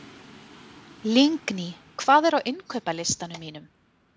Lingný, hvað er á innkaupalistanum mínum?